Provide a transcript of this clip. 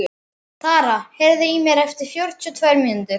Tara, heyrðu í mér eftir fjörutíu og tvær mínútur.